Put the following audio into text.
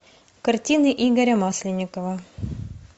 картины игоря масленникова